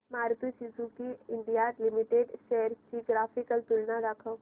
Maruti Suzuki India limited shares ची graphical तुलना दाखव